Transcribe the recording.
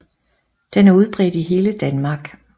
Den er udbredt i hele Danmark